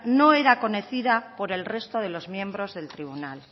no era conocida por el resto de los miembros del tribunal